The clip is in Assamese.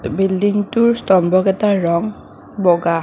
বিল্ডিংটোৰ স্তম্ভ কেইটাৰ ৰংশ বগা।